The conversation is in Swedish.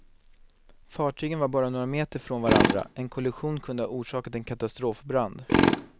Fartygen var bara några meter från varandra, en kollision kunde ha orsakat en katastrofbrand.